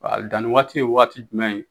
Danni waati ye waati jumɛn ye.